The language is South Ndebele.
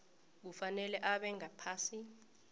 kufanele abe ngaphasi